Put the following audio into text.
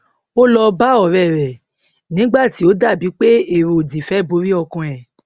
ó lọ bá òré rè nígbà tí ó dà bí pé èrò òdì fẹ borí ọkàn ẹ